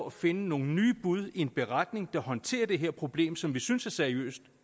at finde nogle nye bud i en beretning der håndterer det her problem som vi synes er seriøst